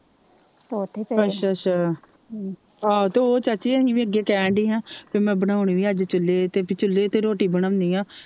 ਅੱਛਾ ਅੱਛਾ ਆਹੋ ਉਹ ਚਾਚੀ ਅਸੀ ਵੀ ਅੱਗੇ ਕਹਿਣ ਦੀ ਹੀ ਹਾ ਮੈ ਬਣੋਨੇ ਵੀ ਅੱਜ ਚੁੱਲ੍ਹੇ ਤੇ ਪੀ ਚੁੱਲ੍ਹੇ ਤੇ ਰੋਟੀ ਬਣਾਉਣੀ ਆ।